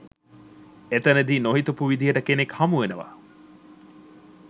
එතනදි නොහිතපු විදිහට කෙනෙක් හමු වෙනව